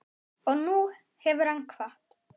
Og nú hefur hann kvatt.